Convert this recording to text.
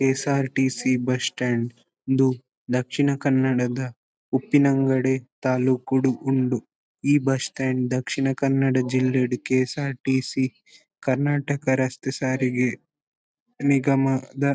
KSRTC. Bus stand ಇಂದು ದಕ್ಷಿಣ ಕನ್ನಡದ ಉಪ್ಪಿನಂಗಡಿ ತಾಲೂಕುಡ್ ಉಂಡು. ಈ ಬಸ್ ಸ್ಟ್ಯಾಂಡ್ ದಕ್ಷಿಣ ಕನ್ನಡ ಜಿಲ್ಲೆಡ್ ಕೆ.ಎಸ್.ಆರ್.ಟಿ.ಸಿ. ಕರ್ನಾಟಕ ರಸ್ತೆ ಸಾರಿಗೆ ನಿಗಮದ--